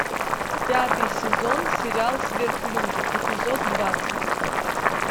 пятый сезон сериал сверхлюди эпизод двадцать